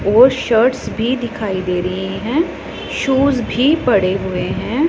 और शर्ट्स भी दिखाई दे रही है शूज भी पड़े हुए हैं।